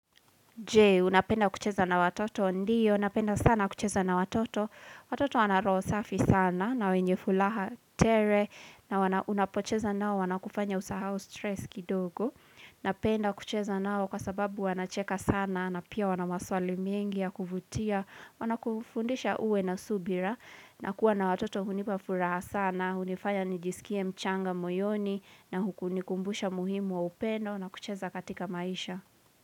Je, unapenda kucheza na watoto,? Ndio, napenda sana kucheza na watoto, watoto wana roho safi sana, na wenye furaha tele na unapocheza na wao wanakufanya usahau stress kidogo, napenda kucheza nao kwa sababu wana cheka sana, na pia wana maswali mingi ya kuvutia wanakufundisha uwe na subira, na kuwa na watoto hunipa furaha sana, hunifaya nijisikie mchanga moyoni, na hukunikumbusha muhimu wa upendo, na kucheza katika maisha.